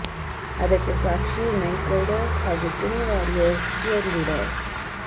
ಅದಕ್ಕೆ ಸಾಕ್ಷಿ Knight Riders ಹಾಗೂ ಪುಣೆ ವಾರಿಯರ್ಸ್ ಚಿಯರ್ ಲೀಡರ್ಸ್